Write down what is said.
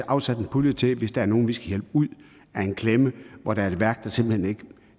afsætte en pulje hvis der er nogle vi skal hjælpe ud af en klemme hvor der er et værk der simpelt hen ikke